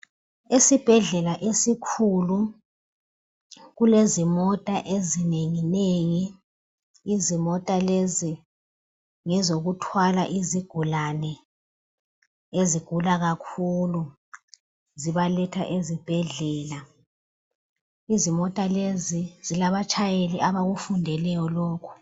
esibhedlela esikhulu kulezimota ezinenginengi izimota lezi ngezokuthwala izigulane ezigula kakhulu zibaletha ezibhedlela izimota lezi zilabatshayeli abakufundeleyo lokhu